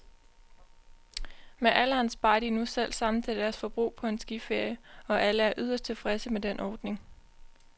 Med alderen sparer de nu selv sammen til deres forbrug på en skiferie, og alle er yderst tilfredse med den ordning.